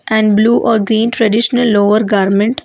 And blue or green traditional lower garment.